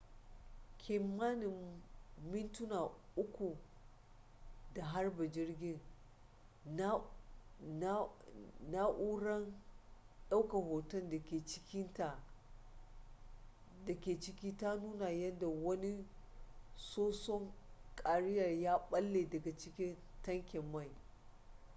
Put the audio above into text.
kimanin mintuna 3 da harba jirgin na'urara daukan hoton da ke ciki ta nuna yadda wani soson kariya ya balle daga jikin tankin mai